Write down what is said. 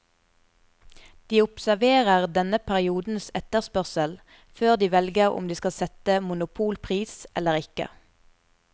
De observerer denne periodens etterspørsel før de velger om de skal sette monopolpris eller ikke.